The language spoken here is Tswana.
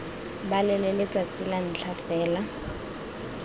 balele letsatsi la ntlha fela